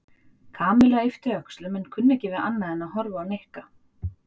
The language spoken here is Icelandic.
Kamilla yppti öxlum en kunni ekki við annað en að horfa á Nikka.